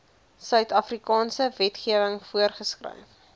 suidafrikaanse wetgewing voorgeskryf